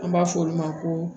An b'a fɔ olu ma ko